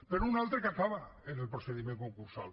però un altre que acaba en el procediment concursal